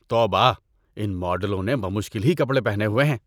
توبہ! ان ماڈلوں نے بمشکل ہی کپڑے پہنے ہوئے ہیں۔